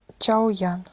чаоян